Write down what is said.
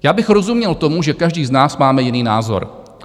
Já bych rozuměl tomu, že každý z nás máme jiný názor.